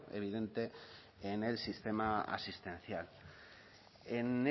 evidente en el sistema asistencial en